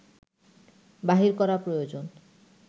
বাহির করা প্রয়োজন